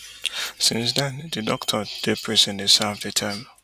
since den di doctor dey prison dey serve di term